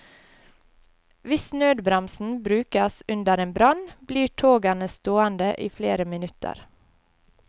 Hvis nødbremsen brukes under en brann, blir togene stående i flere minutter.